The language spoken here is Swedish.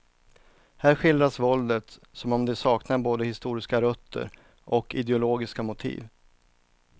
Här skildras våldet som om det saknade både historiska rötter och ideologiska motiv.